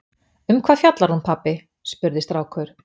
Um hvað fjallar hún pabbi? spurði strákur.